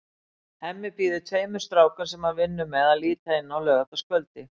Hemmi býður tveim strákum, sem hann vinnur með, að líta inn á laugardagskvöldi.